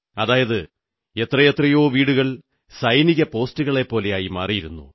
അതായത് എത്രയെത്രയോ വീടുകൾ സൈനിക പോസ്റ്റുപോലെയായി മാറിയിരുന്നു